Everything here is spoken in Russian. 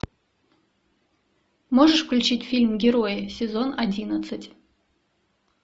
можешь включить фильм герои сезон одиннадцать